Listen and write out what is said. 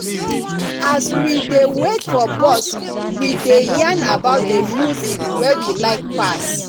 as we dey wait for bus we dey yarn about the music wey we like pass